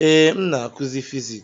Ee, m na-akụzi Fiziks.